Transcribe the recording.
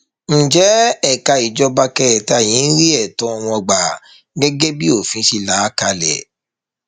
ǹjẹ ẹka ìjọba kẹta yìí ń rí ẹtọ wọn gbà gẹgẹ bí òfin ṣe là á kalẹ